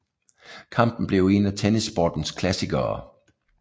Kampen blev en af tennissportens klassikere